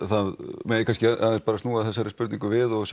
það megi kannski aðeins bara snúa þessari spurningu við og